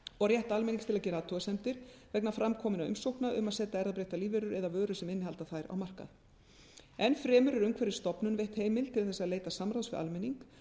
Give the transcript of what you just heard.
og rétt almennings til að gera athugasemdir vegna fram kominna umsókna um að setja erfðabreyttar lífverur eða vörur sem innihalda þær á markað enn fremur er umhverfisstofnun veitt heimild til þess að leita samráðs við almenning